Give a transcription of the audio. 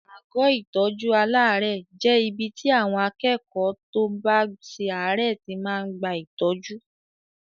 Àgọ́ ìtọ́jú aláàárẹ̀ jẹ́ ibi tí àwọn akẹ́kọ̀ọ́ tó bá ṣe àárẹ̀ tí máa ń gba ìtọ́jú.